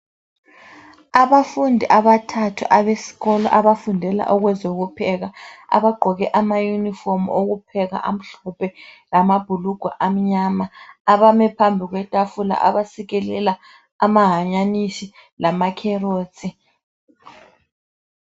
Abafundi abathathu abesikolo abafundela okwezokupheka abagqoke amayunifomu okupheka amhlophe lamabhulugwe amnyama abame phambi kwetafula abasikelela amahanyanisi lama carrot.